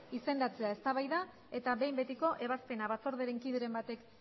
izendatzea eztabaida eta behin betiko ebazpena batzordearen kideren batek